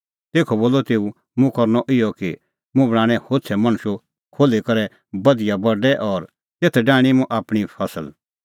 तेखअ बोलअ तेऊ मुंह करनअ इहअ कि मुंह बणांणैं होछ़ै मणशू खोल्ही करै बधिया बडै और तेथ डाहणीं मुंह आपणीं फसल